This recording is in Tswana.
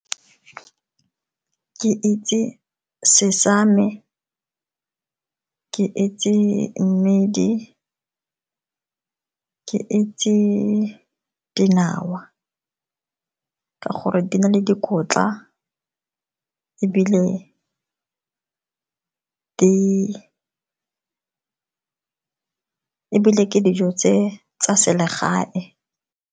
Ke itse sesame, ke itse mmidi, ke itse dinawa ke gore di na le dikotla ebile ke dijo tsa selegae.